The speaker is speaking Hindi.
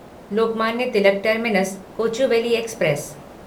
Lokmanya Tilak terminus Kochuveli express